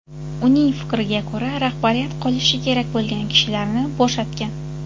Uning fikriga ko‘ra, rahbariyat qolishi kerak bo‘lgan kishilarni bo‘shatgan.